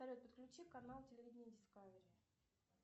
салют подключи канал телевидение дискавери